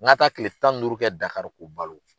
N ka taa tile tan ni duuru kɛ DAKARO k'u balo.